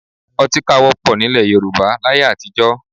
Ọtíkà wọ́pọ̀ nílẹ̀ Yorùbá láyé àtijọ́